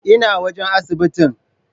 Ina wajan asibitin?